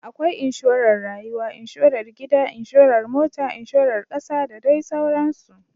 Akwai Inshorar Rayuwa, Inshorar Gida, Inshorar Mota, Inshorar Kasa da dai sauransu.